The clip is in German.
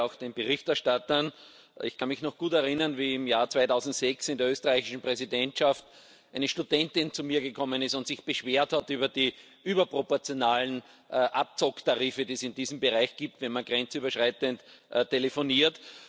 Ich gratuliere auch den Berichterstattern. Ich kann mich noch gut erinnern, wie im Jahr 2006 während der österreichischen Präsidentschaft eine Studentin zu mir gekommen ist und sich beschwert hat über die überproportionalen Abzocktarife, die es in diesem Bereich gibt, wenn man grenzüberschreitend telefoniert.